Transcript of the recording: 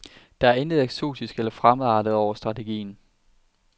Der er intet eksotisk eller fremmedartet over strategien.